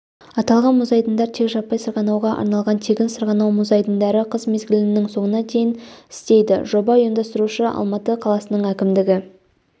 аталған мұз айдындар тек жаппай сырғанауға арналған тегін сырғанау мұз айдындары қыс мезгілінің соңына дейін істейді жоба ұйымдастырушысы алматы қаласының әкімдігі